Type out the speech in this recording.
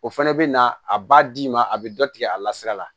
O fɛnɛ bɛ na a b'a d'i ma a bɛ dɔ tigɛ a la sira la